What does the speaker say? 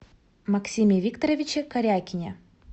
максиме викторовиче корякине